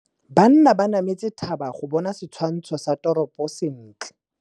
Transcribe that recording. Banna ba nametse thaba go bona setshwantsho sa toropô sentle.